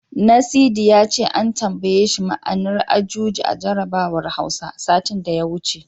Nasidi ya ce an tambaye shi ma'anar Ajuji a jarabawar Hausa, satin da ya wuce.